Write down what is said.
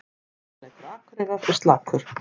Sóknarleikur Akureyrar er slakur